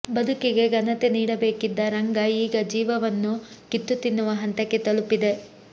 ಬದುಕಿಗೆ ಘನತೆ ನೀಡಬೇಕಿದ್ದ ರಂಗ ಈಗ ಜೀವವನ್ನು ಕಿತ್ತ್ತು ತಿನ್ನುವ ಹಂತಕ್ಕೆ ತಲುಪಿದೆ